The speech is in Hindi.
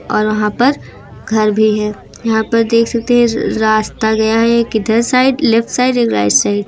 और वहां पर घर भी है यहां पर देख सकते हैं रास्ता गया है एक इधर साइड लेफ्ट साइड एक राइट साइड ।